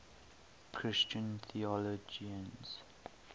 christian theologians